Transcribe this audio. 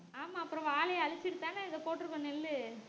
ஆமா அப்பறோம் வாழையை அழிச்சுட்டுதானே இத போட்டிருக்கோம் நெல்லு